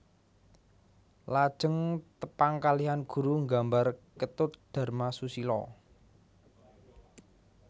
Lajeng tepang kalihan guru nggambar Ketut Dharma Susila